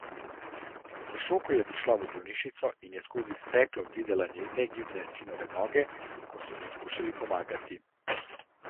V šoku je prišla v bolnišnico in skozi steklo videla negibne sinove noge, ko so mu skušali pomagati.